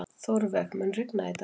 Þórveig, mun rigna í dag?